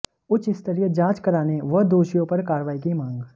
उच्चस्तरीय जांच कराने व दोषियों पर कार्रवाई की मांग